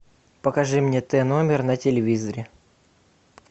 покажи мне т номер на телевизоре